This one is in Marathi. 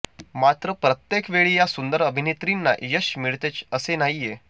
मात्र प्रत्येक वेळी या सुंदर अभिनेत्रींना यश मिळतेच असे नाहीये